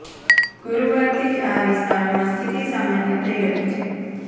ગુરુવારથી જ આ વિસ્તારોમાં સ્થિતિ સામાન્ય થઈ રહી છે